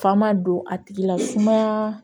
Faama don a tigila sumaya